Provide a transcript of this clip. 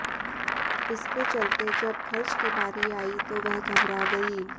इसके चलते जब खर्च की बारी आई तो वह घबरा गई